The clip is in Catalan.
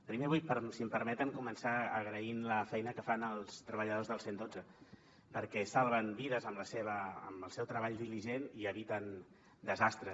primer vull si em permeten començar agraint la feina que fan els treballadors del cent i dotze perquè salven vides amb el seu treball diligent i eviten desastres